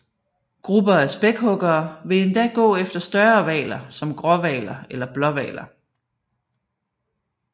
Grupper af spækhuggere vil endda gå efter større hvaler som gråhvaler eller blåhvaler